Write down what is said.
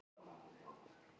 Vefur um sýninguna